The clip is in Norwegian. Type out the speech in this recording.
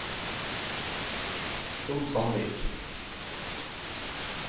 Trond Sandvik